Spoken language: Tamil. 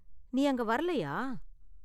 நீ அங்க வரலையா?